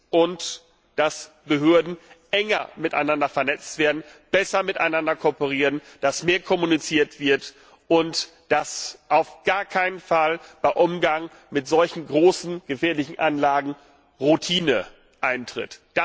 Und damit, dass Behörden enger miteinander vernetzt werden, besser miteinander kooperieren, dass mehr kommuniziert wird und dass auf gar keinen Fall beim Umgang mit solchen großen, gefährlichen Anlagen Routine eintritt.